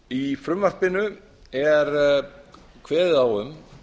í frumvarpinu er kveðið á um